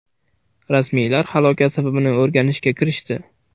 Rasmiylar halokat sabablarini o‘rganishga kirishdi.